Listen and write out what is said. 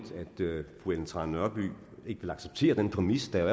fru ellen trane nørby ikke vil acceptere den præmis der